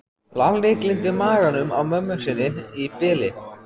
Lalli gleymdi maganum á mömmu sinni í bili.